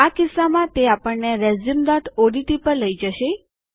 આ કિસ્સામાં તે આપણને રેઝ્યુમઓડીટી પર લઈ જશે